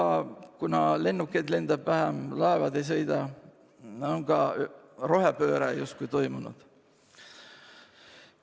Ja kuna lennukeid lendab vähem ja laevad ei sõida, on ka rohepööre justkui toimunud.